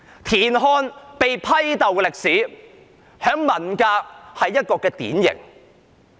田漢被批鬥的歷史在文革期間是一個典型。